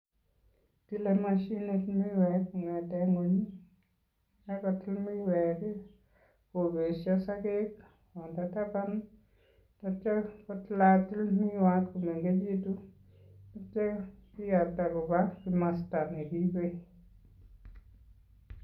Tile mashinit miwek kong'ete ng'ony, kakotil miwek kopesho sogek kopa taban atya kotilatil miwat minenkechitu atya kiyapta kopa kimasta nekiipe.